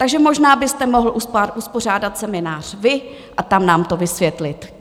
Takže možná byste mohl uspořádat seminář vy a tam nám to vysvětlit.